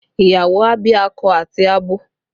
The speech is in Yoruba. Ìyàwó a bí akọ àti abo